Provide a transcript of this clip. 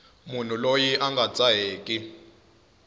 munhu loyi a nga dzaheki